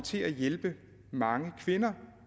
til at hjælpe mange kvinder